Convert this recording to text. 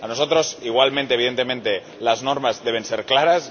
Para nosotros, igualmente y evidentemente, las normas deben ser claras.